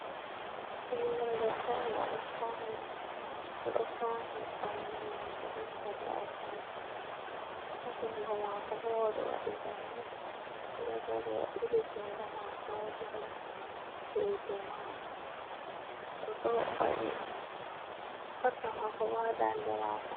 Ɓinngel debbo on, o ɗo fawni ɓanndu maako be kare atampa , a junngo maako bo o ɗo waɗi lalle, o ɗo dari ɓili junngo maako haa dow reedu maako,o ɗo waɗi sarka maako ,haa ndaande maako.